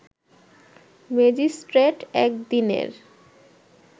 magistrate এক দিনের